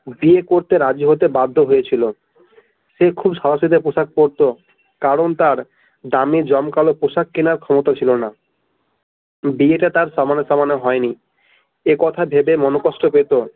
বিয়ে করতে রাজি হতে বাধ্য হয়ে ছিল সে খুব সাদা সিধা পোশাক পড়তো কারণ তার দামি জমকালো পোশাক কেনার ক্ষমতা ছিল না বিয়েটা তার সমানে সমানে হয় নাই একথা ভেবে মনোকষ্ট হত।